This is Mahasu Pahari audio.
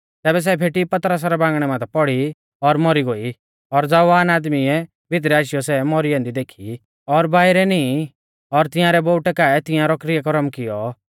तैबै सै फेटी पतरसा रै बांगणै माथै पौड़ी और मौरी गोई और ज़वान आदमीउऐ भितरै आशीयौ सै मौरी ऐन्दी देखी और बाइरै नींई औ तिंआरै बोउटै काऐ तियांरौ किरयाकरम कियौ